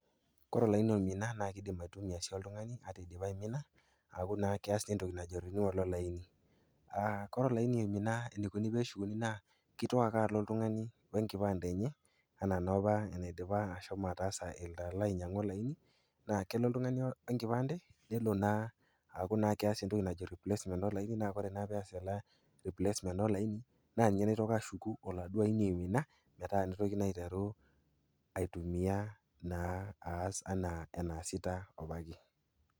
Kore olaini oimina, naa keidim aitumiya sii oltung'ani ata eidipa aimina, naa keas naa entoki naji renewal olaini. Kore olaini oimina peeshukuni naa keitoki ake alo oltung'ani we enkipande enye anaa noopa enetaassa eloito anyang'u olaini. Naa kelo oltung'ani we enkipaande keaku elo naa oltung'ani aas entoki najo replacement olaini naa kore naa peas ena replacement olaini naa ninye oitoki ashuku oladuo aini oimina, metaa neitoki naa aiteru aitumiyaa naas naa anaa eneasita opa ake.